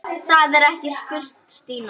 Er það ekki? spurði Stína.